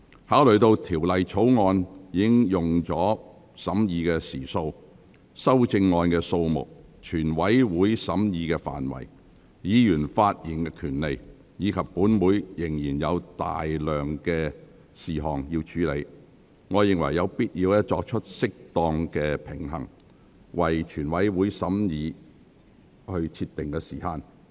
考慮到《條例草案》已耗用的審議時數、修正案的數目、全體委員會審議的範圍、議員發言的權利，以及本會仍有大量事項需要處理，我認為有必要作出適當平衡，為全體委員會審議設定時限。